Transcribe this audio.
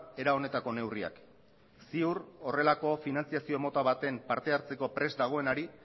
era honetako neurriak ziur horrelako finantziazio mota baten partehartzeko prest dagoenari